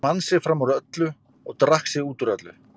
Hann vann sig fram úr öllu og drakk sig út úr öllu.